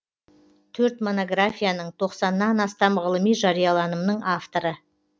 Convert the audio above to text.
төрт монографияның тоқсаннан астам ғылыми жарияланымның авторы